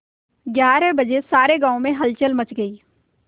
ग्यारह बजे सारे गाँव में हलचल मच गई